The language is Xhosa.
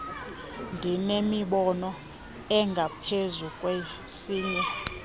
ndinemibono engaphezu kwesinye